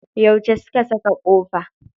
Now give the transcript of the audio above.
Yauce su ka saka kofa?